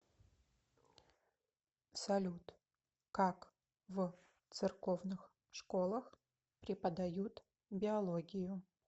салют как в церковных школах преподают биологию